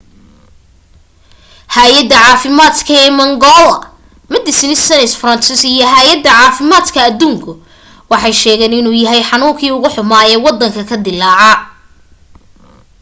haayadda caafimaad ee mangola medecines sans frontieres iyo haayadda caafimaadka aduunku waxay sheegeen inuu yahay xanuunkii ugu xumaa ee waddanka ka dillaaca